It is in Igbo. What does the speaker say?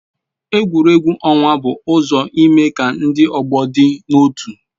Egwuregwu ọnwa bụ ụzọ ime ka ndị ọgbọ dị n'otu